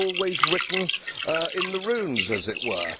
It was always written in the runes, as it were.